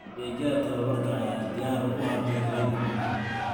Adeegyada tababarka ayaa diyaar u ah beeralayda caanaha.